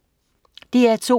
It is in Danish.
DR2: